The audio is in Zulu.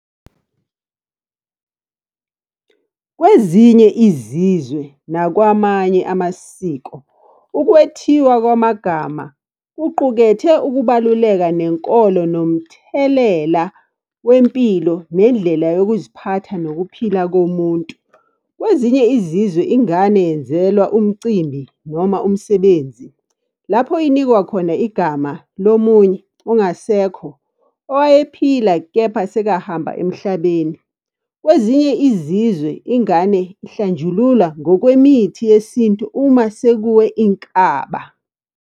Kwezinye izizwe nakwamanye amasiko, ukwethiwa kwamagama, kuqukethe ukubaluleka nenkolo nomthelela wempilo, nendlela yokuziphatha nokuphila komuntu. Kwezinye izizwe ingane yenzelwa umcimbi noma umsebenzi, lapho inikwa khona igama lomunye ongasekho, owayephila kepha sekahamba emhlabeni. Kwezinye izizwe ingane ihlanjululwa ngokwemithi yesintu uma sekuwe inkaba.